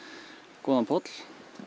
góðan poll